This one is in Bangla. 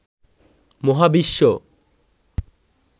মহাবিশ্ব